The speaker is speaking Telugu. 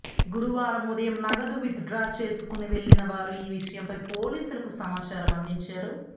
గురువారం ఉదయం నగదు విత్ డ్రా కోసం వెళ్లిన వారు ఈ విషయంపై పోలీసులకు సమాచారం అందించారు